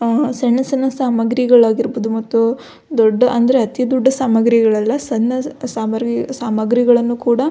ಆ ಸಣ್ಣ ಸಣ್ಣ ಸಾಮಾಗ್ರಿಗಾಳಾಗಿರ್ಬಹುದು ಮತ್ತು ದೊಡ್ಡ್ ಅಂದ್ರೆ ಅತಿ ದೊಡ್ಡ ಸಾಮಾಗ್ರಿಗಳಲ್ಲ ಸಣ್ಣ ಸಾಮಾಗ್ರಿಗಳನ್ನ ಕೂಡ.